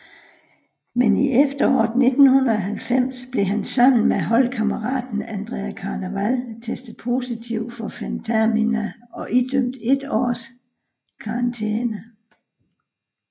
Men i efteråret 1990 blev han sammen med holdkammeraten Andrea Carnevale testet positiv for fentermina og idømt et års karantæne